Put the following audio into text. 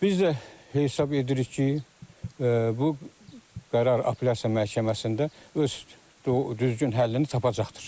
Biz də hesab edirik ki, bu qərar apellyasiya məhkəməsində öz düzgün həllini tapacaqdır.